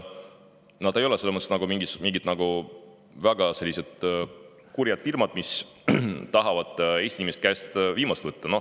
Nad ei ole mingid väga kurjad firmad, kes tahavad Eesti inimeste käest viimast võtta.